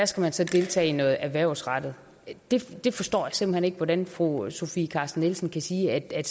skal man så deltage i noget erhvervsrettet jeg forstår simpelt hen ikke hvordan fru sofie carsten nielsen kan sige at